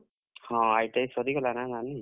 ହଁ, ITI ସରିଗଲା ନା ନାନୀ, ।